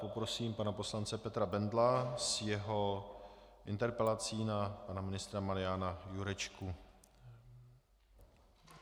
Poprosím pana poslance Petra Bendla s jeho interpelací na pana ministra Mariana Jurečku.